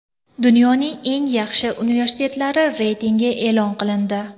Dunyoning eng yaxshi universitetlari reytingi e’lon qilindi.